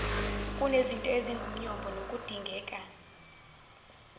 kunezinto ezingumyombo nokudingeka